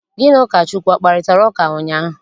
Gị na Ụkọchukwu akparịtara ụka ụnyaahụ?